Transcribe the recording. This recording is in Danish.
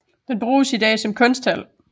Den bruges i dag som kunsthal